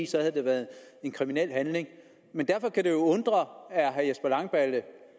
så havde det været en kriminel handling derfor kan det jo undre at herre jesper langballe